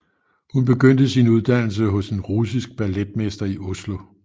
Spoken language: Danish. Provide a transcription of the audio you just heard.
Hun begyndte sin uddannelse hos en russisk balletmester i Oslo